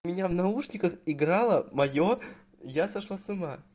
у меня в наушниках играла моё я сошла с ума